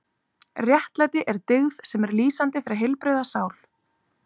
Réttlæti er dyggð sem er lýsandi fyrir heilbrigða sál.